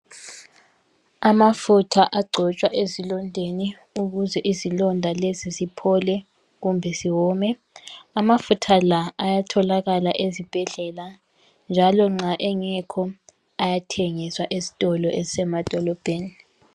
Amafutha agcotshwa ezilondeni ukuze izilonda lezi ziphole kumbe ziwome .Amafutha la ayatholakala ezibhedlela njalo nxa engekho ayathengiswa ezitolo ezisemadolobheni.